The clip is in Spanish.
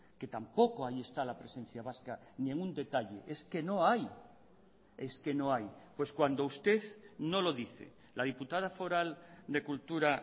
que tampoco ahí está la presencia vasca ni en un detalle es que no hay es que no hay pues cuando usted no lo dice la diputada foral de cultura